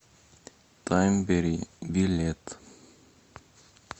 таймберри билет